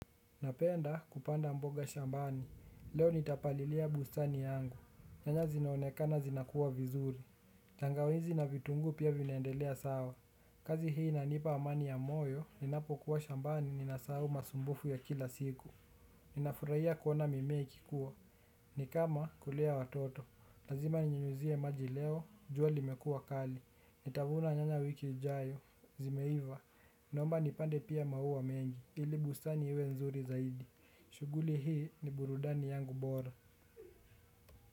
Napenda kupanda mboga shambani, leo nitapalilia bustani yangu, nyanya zinaonekana zinakua vizuri. Tangawizi na vitunguu pia vinaendelea sawa, kazi hii inanipa amani ya moyo, ninapo kuwa shambani ni nasahau masumbufu ya kila siku. Ninafurahia kuona mimea ikikua ni kama kulea watoto lazima ninyunyizie maji leo jua limekuwa kali nitavuna nyanya wiki ijayo zimeiva. Naomba nipande pia maua mengi, ili busani iwe nzuri zaidi, shughuli hii ni burudani yangu bora.